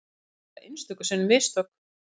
Við gerum auðvitað einstöku sinnum mistök